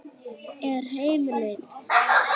Er heimild?